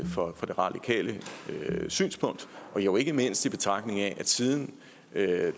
for det radikale synspunkt jo ikke mindst i betragtning af at siden